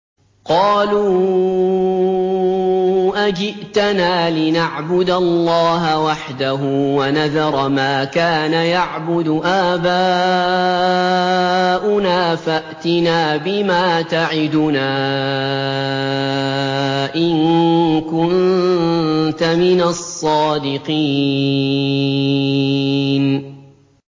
قَالُوا أَجِئْتَنَا لِنَعْبُدَ اللَّهَ وَحْدَهُ وَنَذَرَ مَا كَانَ يَعْبُدُ آبَاؤُنَا ۖ فَأْتِنَا بِمَا تَعِدُنَا إِن كُنتَ مِنَ الصَّادِقِينَ